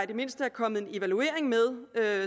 det mindste er kommet en evaluering med